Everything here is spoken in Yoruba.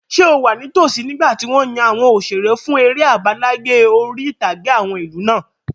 Ṣé o wà ní tosí nígbàtí wọ́n yan àwọn òṣeré fún eré àbáláyé orí-ìtàgé àwọn ìlú náà?